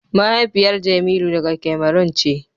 mahaifiyar jemilu daga Cameron ce.